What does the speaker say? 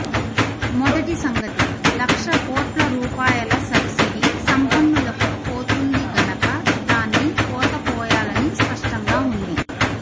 మొదటి సంగతి లక్ష కోట్ల రూపాయల సబ్సిడీ సంపన్నులకు పోతుంది గనక దాన్ని కోత కోయాలని స్పష్టంగా వుంది